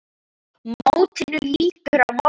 Mótinu lýkur á morgun.